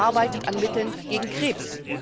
Man arbeitet an Mitteln gegen Krebs.